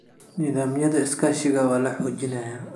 Nidaamyada iskaashiga waa la xoojinayaa.